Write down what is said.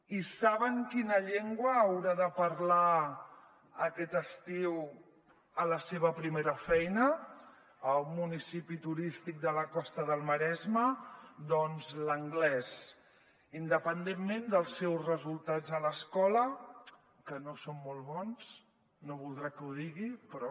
i saben quina llengua haurà de parlar aquest estiu a la seva primera feina a un municipi turístic de la costa del maresme doncs l’anglès independentment dels seus resultats a l’escola que no són molt bons no voldrà que ho digui però